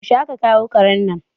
Yaushe a ka kawo karen nan?